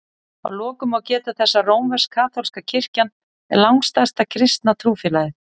Að lokum má geta þess að rómversk-kaþólska kirkjan er langstærsta kristna trúfélagið.